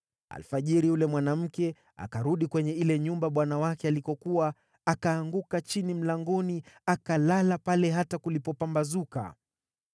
Alfajiri yule mwanamke akarudi kwenye ile nyumba bwana wake alikokuwa, akaanguka chini mlangoni, akalala pale hata kulipopambazuka.